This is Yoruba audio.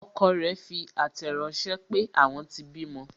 Ọkọ rẹ fi àtẹ̀ ránsẹ́ pé, àwọn tí bímọ